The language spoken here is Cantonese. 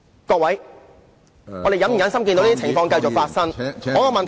各位，我們是否忍心看到這種情況繼續發生？